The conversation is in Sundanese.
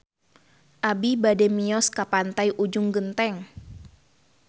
Abi bade mios ka Pantai Ujung Genteng